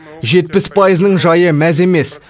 жетпіс пайызының жайы мәз емес